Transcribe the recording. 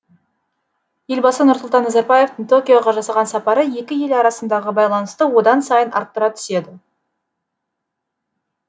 елбасы нұрсұлтан назарбаевтың токиоға жасаған сапары екі ел арасындағы байланысты одан сайын арттыра түседі